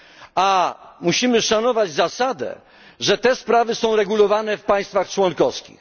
A musimy szanować zasadę, że te sprawy są regulowane w państwach członkowskich.